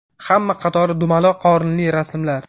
Hamma qatori dumaloq qorinli rasmlar.